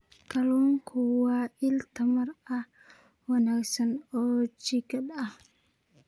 Kalluunku waa il tamar aad u wanaagsan oo jidhka ah.